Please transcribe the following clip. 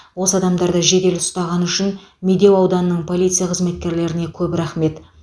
осы адамдарды жедел ұстағаны үшін медеу ауданының полиция қызметкерлеріне көп рахмет